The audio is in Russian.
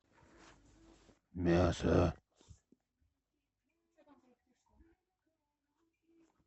мясо